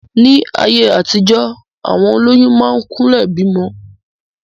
Ní ayé àtijọ, àwọn olóyún máa ń kúnlẹ̀ bímọ.